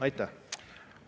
Aitäh!